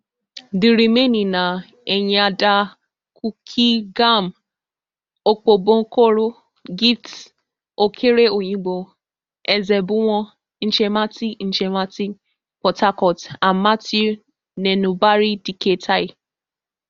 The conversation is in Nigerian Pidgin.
di remaining na enyiada cookeygam opobonkoro gift okere oyigbo ezebunwo ichemati ichemati port harcourt and matthew nenubari dike tai